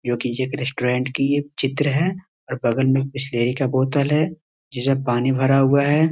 जो कि एक रेस्टोरेंट की एक चित्र है और बगल में बिस्लरी का बोतल है जिसमें पानी भरा हुआ है।